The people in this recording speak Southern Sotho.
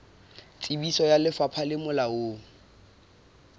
tsebiso ya lefapha le molaong